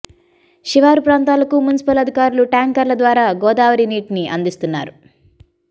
శివారు ప్రాంతాలకు మున్సిపల్ అధికారులు ట్యాంకర్ల ద్వారా గోదావరి నీటిని అందిస్తున్నారు